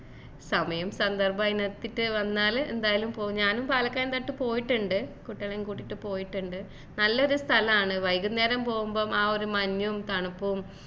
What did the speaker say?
സമയം സന്ദർഭം അതിനൊത്തിട്ട് വന്നാല് എന്തായാലും പോവും ഞാനും പാലക്കയം തട്ട് പോയിട്ടുണ്ട് കുട്ടികളേം കൂട്ടീട്ട് പോയിട്ടുണ്ട് നല്ലൊരു സ്ഥലാണ് വൈകുന്നേരം പോവുമ്പോ ആ ഒരു മഞ്ഞും തണുപ്പും